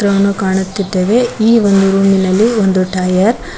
ಅನ್ನು ಕಾಣುತ್ತಿದ್ದೇವೆ ಈ ಒಂದು ರೂಮಿನಲ್ಲಿ ಒಂದು ಟೈಯರ್ --